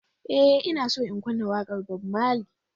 Ee, Ina so in kunna waƙar Bob Marley.